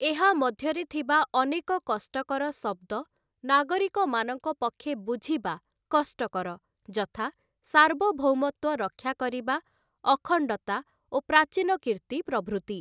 ଏହା ମଧ୍ୟରେ ଥିବା ଅନେକ କଷ୍ଟକର ଶବ୍ଦ ନାଗରିକମାନଙ୍କ ପକ୍ଷେ ବୁଝିବା କଷ୍ଟକର ଯଥା ସାର୍ବଭୌମତ୍ଵ ରକ୍ଷା କରିବା ଅଖଣ୍ଡତା ଓ ପ୍ରାଚୀନକୀର୍ତ୍ତି ପ୍ରଭୃତି ।